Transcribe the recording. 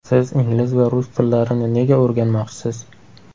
Siz ingliz va rus tillarini nega o‘rganmoqchisiz?